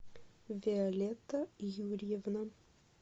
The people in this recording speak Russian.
виолетта юрьевна